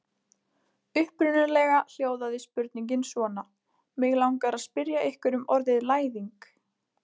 Upprunalega hljóðaði spurningin svona: Mig langar að spyrja ykkur um orðið læðing.